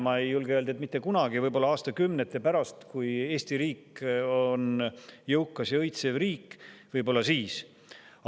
Ma ei julge öelda, et mitte kunagi, võib-olla aastakümnete pärast, kui Eesti riik on jõukas ja õitsev riik – võib-olla siis.